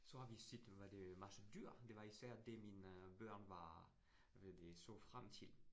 Så har vi set, hvad det masse dyr. Det var især det, mine børn var, hvad det så frem til